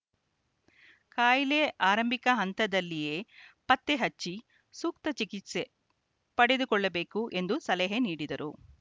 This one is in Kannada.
ಕಾಯಿಲೆ ಆರಂಭಿಕ ಹಂತದಲ್ಲಿಯೇ ಪತ್ತೆ ಹಚ್ಚಿ ಸೂಕ್ತ ಚಿಕಿತ್ಸೆ ಪಡೆದುಕೊಳ್ಳಬೇಕು ಎಂದು ಸಲಹೆ ನೀಡಿದರು